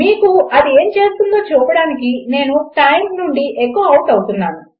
మీకు అది ఏమి చేస్తుందో చూపడానికి నేను టైమ్ నుండి ఎఖొ ఔట్ అవుతున్నాను